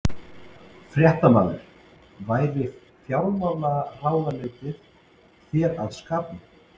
Fréttamaður: Væri fjármálaráðuneytið þér að skapi?